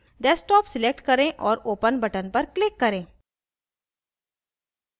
desktop select करें और open button पर click करें